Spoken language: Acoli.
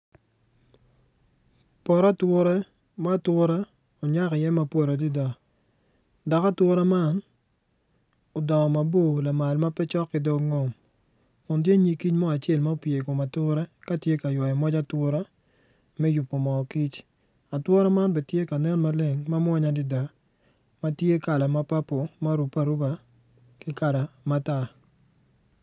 Poto ature ma ature onyak iye mapo adada dok atura man odongo mabor lamal ma pe cok ki dog ngom kuntye nyig kic mo acel ma opye i kom ature ka tye ka ywayo moc atura me yubo moo kic atura man bene tye ka nen ma leng ma mwanya adada ma tye kala ma papul ma orubbe aruba ki kala matar.